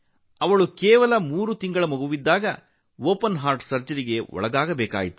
ಅವಳು ಕೇವಲ ಮೂರು ತಿಂಗಳ ಮಗುವಾಗಿದ್ದಾಗ ತೆರೆದ ಹೃದಯ ಶಸ್ತ್ರಚಿಕಿತ್ಸೆಗೆ ಒಳಗಾಗಬೇಕಾಯಿತು